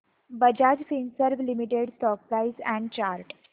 Bajaj Finserv limited stock price and chart